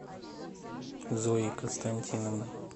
зоей константиновной